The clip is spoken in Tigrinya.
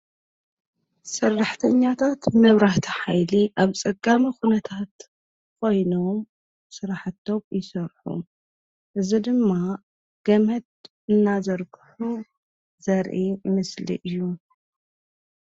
ሠራሕተኛታት መብራህti HAይሊ ኣብ ጸጋሚ ዂነታት ኾይኖም ሠራሕቶም ይሠርሑ። እዝ ድማ ገምድ እናዘርክሑ ዘርኢ ምስሊ እዩ.